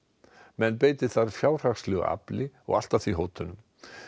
menn beiti þar fjárhagslegu afli og allt að því hótunum